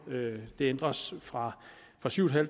det ændres fra fra syv